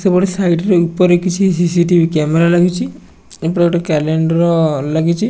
ସେପଟେ ସାଇଡ ରେ ଉପରେ କିଛି ସି_ସି _ଟି_ଭି କ୍ୟାମେରା ଲାଗିଚି ଏପଟେ ଗୋଟେ କ୍ୟାଲେଣ୍ଡର ଲାଗିଚି।